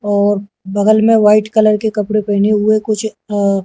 और बगल मे वाइट कलर के कपड़े पहने हुए कुछ अ--